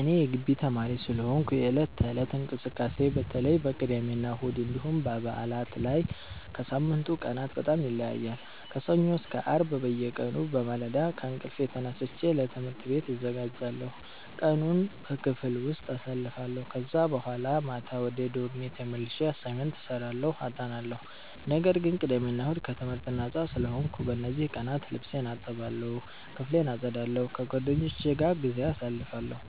እኔ የጊቢ ተማሪ ስለሆንኩ የዕለት ተዕለት እንቅስቃሴዬ በተለይ በቅዳሜና እሁድ እንዲሁም በበዓላት ላይ ከሳምንቱ ቀናት በጣም ይለያያል። ከሰኞ እስከ አርብ በየቀኑ በማለዳ ከእንቅልፌ ተነስቼ ለትምህርት ቤት እዘጋጃለሁ፣ ቀኑን በክፍል ውስጥ አሳልፋለሁ ከዛ በኋላ ማታ ወደ ዶርሜ ተመልሼ አሳይመንት እሰራለሁ አጠናለሁ። ነገር ግን ቅዳሜ እና እሁድ ከትምህርት ነጻ ስለሆንኩ፣ በእነዚህ ቀናት ልብሴን እጠባለሁ፣ ክፍሌን አጸዳለሁ፣ ከጓደኞቼ ጋር ጊዜ አሳልፋለሁ፣